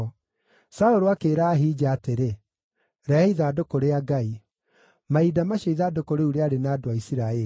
Saũlũ akĩĩra Ahija atĩrĩ, “Rehe ithandũkũ rĩa Ngai.” (Mahinda macio ithandũkũ rĩu rĩarĩ na andũ a Isiraeli).